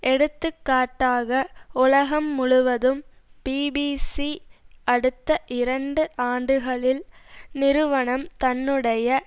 எடுத்துக்காட்டாக உலகம் முழுவதும் பிபிசி அடுத்த இரண்டு ஆண்டுகளில் நிறுவனம் தன்னுடைய